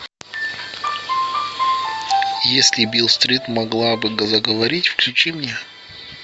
если бийл стрит могла бы заговорить включи мне